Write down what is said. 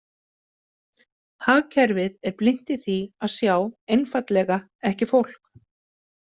Hagkerfið er blint í því að sjá einfaldlega ekki fólk.